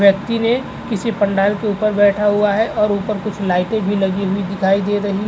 व्यक्ति ने किसी पंडाल के ऊपर बैठा हुआ है और कुछ लाइटे भी लागि हुई दिखाई दे रही --